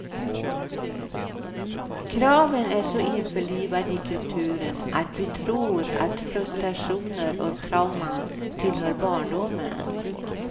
Kraven är så införlivade i kulturen att vi tror att frustatrationer och trauman tillhör barndomen.